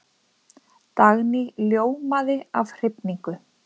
Dagný ljómaði af hrifningu.